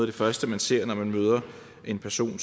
det første man ser når man møder en person